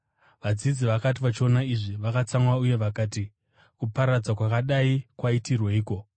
Vadzidzi vakati vachiona izvi, vakatsamwa uye vakati, “Kuparadza kwakadai kwaitirweiko?